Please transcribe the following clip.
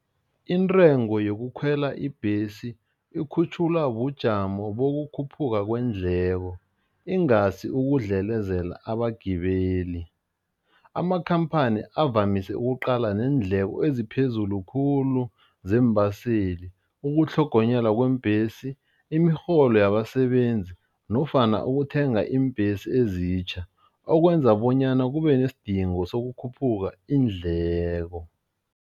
Intengo yokukhwela ibhesi ikhutjhulwa bujamo bokukhuphuka kweendleko ingasi ukudlelezela abagibeli. Amakhamphani avamise ukuqala neendleko eziphezulu khulu zeembaseli, ukutlhogonyelwa kweembhesi, imirholo yabasebenzi nofana ukuthenga iimbhesi ezitjha, okwenza bonyana kube nesidingo sokukhuphuka iindleko.